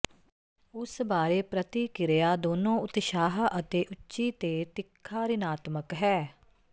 ਉਸ ਬਾਰੇ ਪ੍ਰਤਿਕਿਰਿਆ ਦੋਨੋ ਉਤਸ਼ਾਹ ਅਤੇ ਉੱਚੀ ਤੇ ਤਿੱਖਾ ਰਿਣਾਤਮਕ ਹੈ